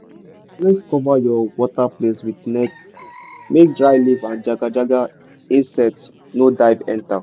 always cover your water place with net make dry leaf and jaga-jaga insect no dive enter.